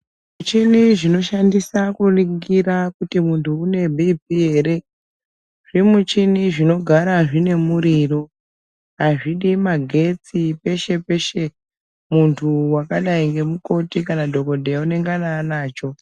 Michini dzinoshandisa kuningira kuti muntu une bhiiphii ere, zvimichini zvinogara zvine muriro. Azvidi magetsi peshe-peshe. Muntu wakadai ngemukoti kana dhokodheya ,unengana anacho.